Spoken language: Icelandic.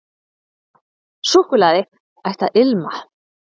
Súkkulaði ætti að ilma.